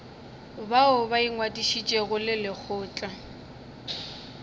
bao ba ingwadišitšego le lekgotla